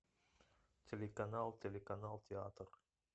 телеканал телеканал театр